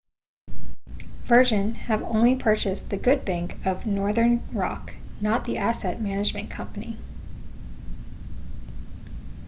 virgin have only purchased the good bank' of northern rock not the asset management company